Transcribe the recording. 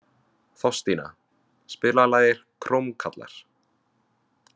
Þorstína, spilaðu lagið „Krómkallar“.